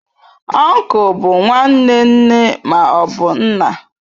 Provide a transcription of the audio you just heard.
Uncle bụ nwanne nne ma ọ bụ nna.